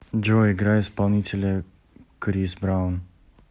джой играй исполнителя крис браун